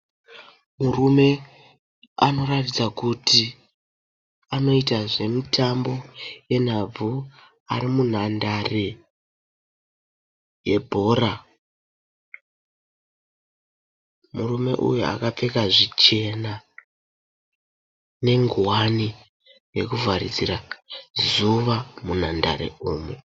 Murume anoratidza kuti anoita zvemutambo yenhabvu ari munhandare yebhora. Murume uyu akapfeka zvichena nengowani yekuvharidzira zuva munhandare umu.